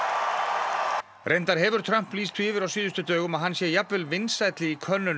reyndar hefur Trump lýst því yfir á síðustu dögum að hann sé jafnvel vinsælli í könnunum en Abraham